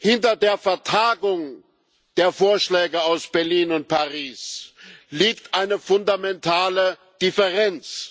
Hinter der Vertagung der Vorschläge aus Berlin und Paris liegt eine fundamentale Differenz.